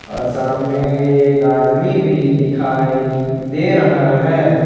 और सामने एक आदमी भी दिखाई दे रहा है।